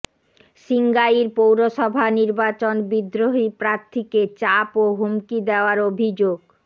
সিঙ্গাইর পৌরসভা নির্বাচন বিদ্রোহী প্রার্থীকে চাপ ও হুমকি দেওয়ার অভিযোগ